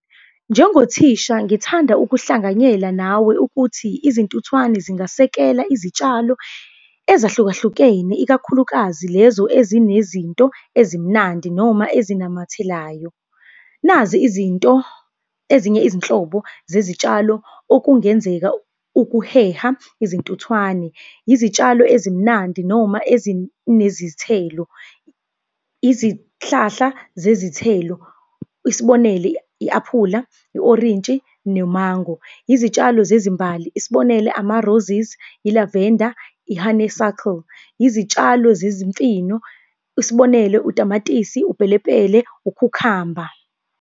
Njengothisha ngithanda ukuhlanganyela nawe ukuthi izintuthwane zingasekela izitshalo ezahlukahlukene, ikakhulukazi lezo ezinezinto ezimnandi noma ezinamathelayo. Nazi izinto ezinye izinhlobo zezitshalo okungenzeka ukuheha izintuthwane, izitshalo ezimnandi noma ezinezithelo. Izihlahla zezithelo, isibonele, i-aphula, i-orintshi nomango. Izitshalo zezimbali, isibonelo ama-roses, i-lavender, i-honeysuckle. Izitshalo zezimfino, isibonelo utamatisi, upelepele, ukhukhamba.